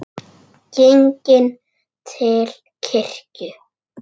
Genginn til kirkju.